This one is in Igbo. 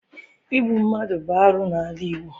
Igbu mmadụ bụ arụ n'ala Igbo.